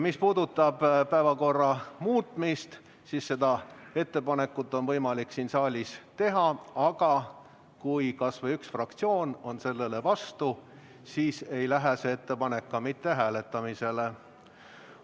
Mis puudutab päevakorra muutmist, siis seda ettepanekut on võimalik siin saalis teha, aga kui kas või üks fraktsioon on sellele vastu, siis ei lähe see ettepanek ka mitte hääletamisele.